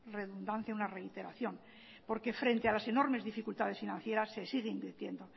redundancia una reiteración porque frente a las enormes dificultades financieras se sigue invirtiendo